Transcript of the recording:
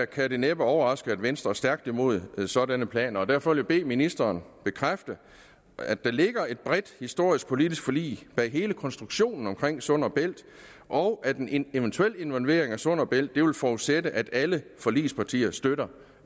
kan det næppe overraske at venstre er stærkt imod sådanne planer derfor vil jeg bede ministeren bekræfte at der ligger et bredt historisk politisk forlig bag hele konstruktionen omkring sund bælt og at en en eventuel involvering af sund bælt vil forudsætte at alle forligspartier støtter